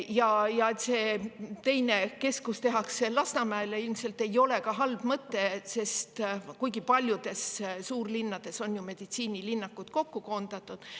Ja et see teine keskus tehakse Lasnamäele, ilmselt ei ole halb mõte, kuigi paljudes suurlinnades on meditsiinilinnakusse koondatud.